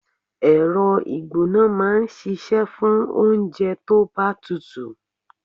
Ẹ̀rọ ìgbóná máa ń ṣíṣe fún oúnjẹ tó bá tutù.